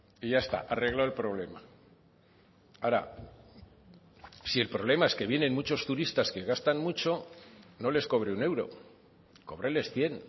y ya está arreglado el problema ahora si el problema es que vienen muchos turistas que gastan mucho no les cobre un euro cóbreles cien